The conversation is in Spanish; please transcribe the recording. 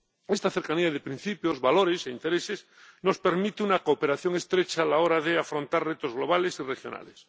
Esta cercanía de principios, valores e intereses nos permite una cooperación estrecha a la hora de afrontar retos globales y regionales.